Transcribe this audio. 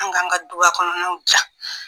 An ka an ka du kɔnɔnw diya!